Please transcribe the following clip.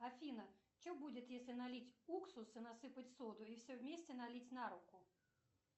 афина что будет если налить уксус и насыпать соду и все вместе налить на руку